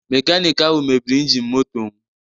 Mekaniki ahụ mebiri injin motom